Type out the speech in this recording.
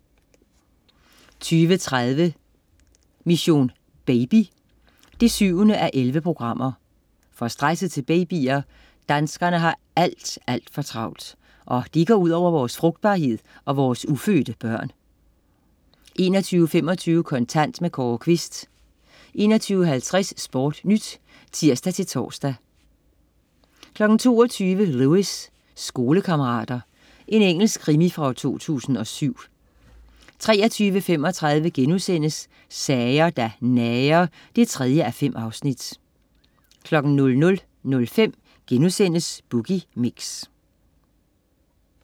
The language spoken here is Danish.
20.30 Mission: Baby 7:11. For stresset til babyer? Danskerne har alt, alt for travlt. Og dét går ud over vores frugtbarhed og vores ufødte børn 21.25 Kontant. Kåre Quist 21.50 SportNyt (tirs-tors) 22.00 Lewis: Skolekammerater. Engelsk krimi fra 2007 23.35 Sager der nager 3:5* 00.05 Boogie Mix*